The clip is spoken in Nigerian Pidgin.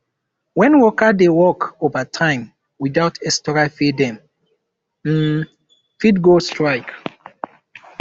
when workers dey work overtime without extra pay dem um fit go strike